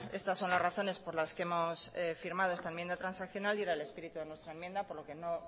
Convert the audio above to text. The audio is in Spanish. estas son las razones por las que hemos firmado esta enmienda transaccional y era el espíritu de nuestra enmienda por lo que no